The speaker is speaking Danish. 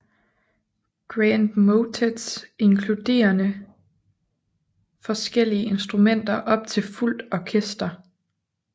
Grand motets inkluderede forskellige instrumenter op til fuldt orkester